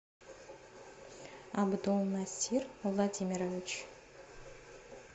абдулнасир владимирович